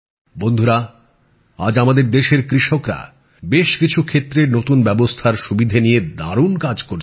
বন্ধুরা আজ আমাদের দেশের কৃষকেরা বেশ কিছু ক্ষেত্রে নতুন ব্যবস্থার সুবিধে নিয়ে দারুণ কাজ করছেন